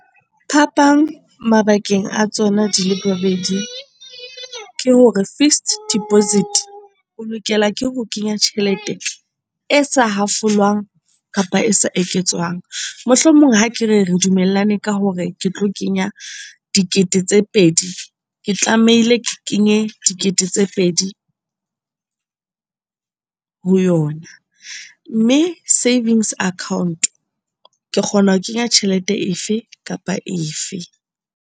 Phapang mabakeng a tsona di le bobedi ke hore fixed deposit o lokela ke ho kenya tjhelete e sa hafolwang kapa e sa eketswang. Mohlomong ha ke re, re dumellane ka hore ke tlo kenya dikete tse pedi. Ke tlamehile ke kenye dikete tse pedi ho yona, mme savings account ke kgona ho kenya tjhelete efe kapa efe.